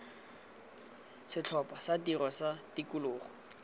setlhopha sa tiro sa tikologo